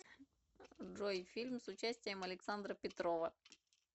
джой фильм с участием александра петрова